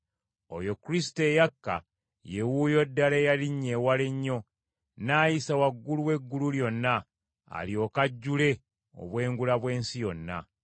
Oyo Kristo eyakka, ye wuuyo ddala eyalinnya ewala ennyo, n’ayisa waggulu w’eggulu lyonna, alyoke ajjule obwengula bw’ensi yonna.